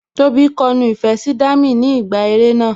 Tóbi kọ nu ìfẹ́ sí Dami ni ìgbà eré náà